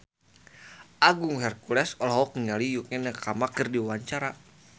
Agung Hercules olohok ningali Yukie Nakama keur diwawancara